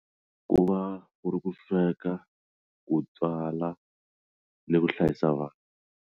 Ku va ku ri ku sweka ku tswala ni ku hlayisa vana.